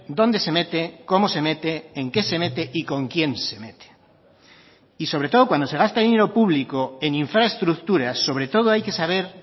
dónde se mete cómo se mete en qué se mete y con quién se mete y sobre todo cuando se gasta dinero público en infraestructuras sobre todo hay que saber